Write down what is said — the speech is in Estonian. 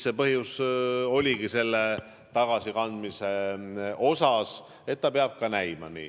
See oligi põhjus tagasikandmiseks, et see peab nii ka näima.